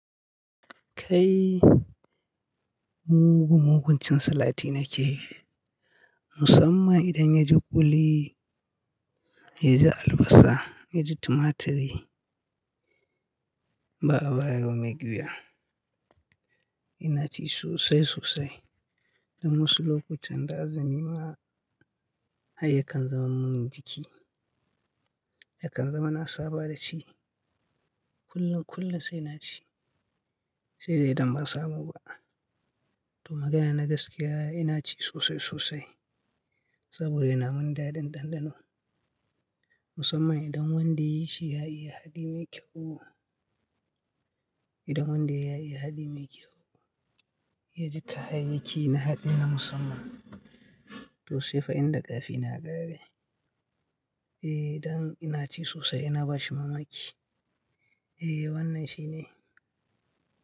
Kai mugun-muguncin salati nake, musamman idan yaji kuli, yaji albasa, yaji tumaturi, ba a bayar wa mai ƙyuya. Ina ci sosai sosai. Dan wasu lokutan da azumi ma har yakan zama mun jiki, yakan zama na saba da shi. Kullum kullum sai na ci, sai dai idan ba samu ba. To magana na gaskiya ina ci sosai sosai, saboda yana mun daɗin ɗanɗano. Musamman idan wanda ya yi shi ya iya haɗi mai kyau. Idan wanda ya iya haɗi mai kyau, ya ji kayayyaki na haɗi na musamman. To sai fa inda ƙarfi na ya ƙare. Eh, don ina ci sosai ina bashi mamaki. Eh wannan shine.